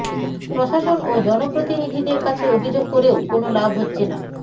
প্রশাসন ও জনপ্রতিনিধিদের কাছে অভিযোগ করেও কোনো লাভ হচ্ছে না